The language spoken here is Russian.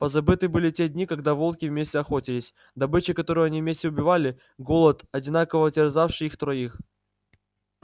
позабыты были те дни когда волки вместе охотились добыча которую они вместе убивали голод одинаково терзавший их троих